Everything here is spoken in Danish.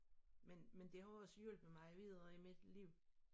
Men men det har jo også hjulpet mig videre i mit liv